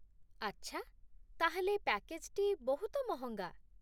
ଆଚ୍ଛା, ତା'ହେଲେ ପ୍ୟାକେଜ୍‌ଟି ବହୁତ ମହଙ୍ଗା।